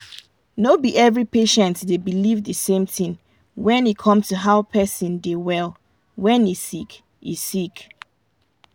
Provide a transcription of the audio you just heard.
no be every patient believe de same thing when e come to how person da well when e sick e sick